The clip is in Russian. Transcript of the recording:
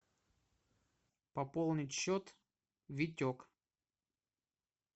пополнить счет витек